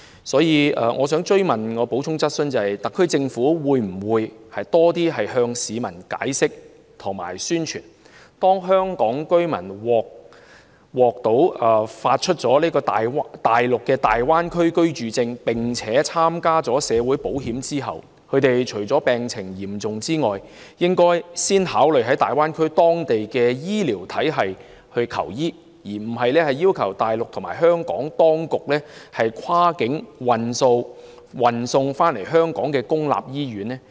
所以，我的補充質詢是，特區政府會否多向市民解釋及宣傳，香港居民如獲發內地的大灣區居住證，並且參加內地的社會保險，除非病情嚴重，他們應先考慮在大灣區的醫療體系求醫，而非要求大陸和香港當局跨境運送回香港的公營醫院？